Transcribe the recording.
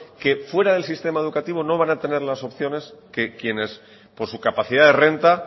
que fuera del sistema educativo no van a tener las opciones que quienes por su capacidad de renta